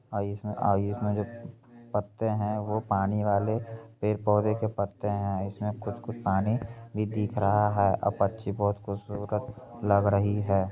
आ इसमें आ इसमें जो पत्ते हैं वो पानी वाले पेड़-पौधे के पत्ते हैं इसमें कुछ-कुछ पानी भी दिख रहा है आ पंछी बहोत खूबसूरत लग रही है।